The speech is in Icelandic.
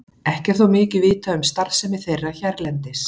Ekki er þó mikið vitað um starfsemi þeirra hérlendis.